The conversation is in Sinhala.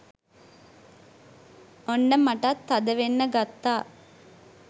ඔන්න මටත් තදවෙන්න ගත්තා.